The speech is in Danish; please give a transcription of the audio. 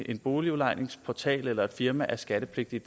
en boligudlejningsportal eller et firma er skattepligtige